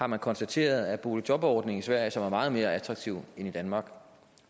man konstatere at boligjobordningen i sverige som er meget mere attraktiv end i danmark